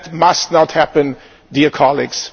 That must not happen, dear colleagues.